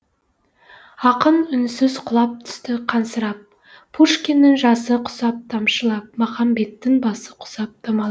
ақын үнсіз құлап түсті қансырап пушкиннің жасы құсап тамшылап махамбеттің басы құсап домалап